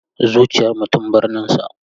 Zuciyar mutum, birninsa.